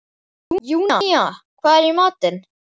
Júnía, hvað er í matinn?